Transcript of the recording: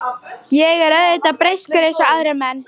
Ég er auðvitað breyskur eins og aðrir menn.